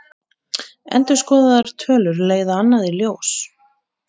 Endurskoðaðar tölur leiða annað í ljós